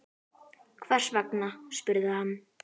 Hvers vegna? spurði hann.